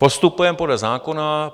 Postupujeme podle zákona.